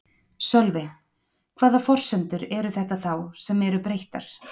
Sölvi: Hvaða forsendur eru þetta þá sem eru breyttar?